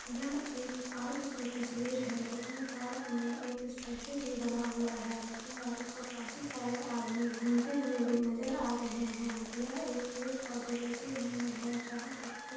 यह एक पार्क की तस्वीर है जिस में पार्क में एक स्टेचू भी बना हुआ है यहाँ पे काफी सरे आदमी घूमते हुए नजर आ रहे है यह एक पेड़ पोधे लगे हुए है जहा पे--